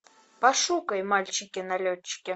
пошукай мальчики налетчики